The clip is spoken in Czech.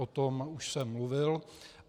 O tom už jsem mluvil.